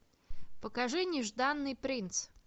покажи нежданный принц